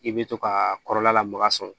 I bɛ to ka kɔrɔla lamaga sɔn